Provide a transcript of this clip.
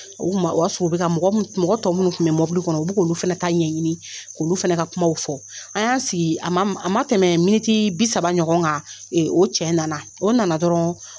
O tuma o y'a sɔrɔ u bɛ mɔgɔ tɔw minnu tun bɛ mɔbili kɔnɔ u b'olu fana ta ɲɛɲini k'olu fana ka kumaw fɔ an y'an sigi a ma tɛmɛ miniti bi saba ɲɔgɔn kan o cɛ nana o nana dɔrɔn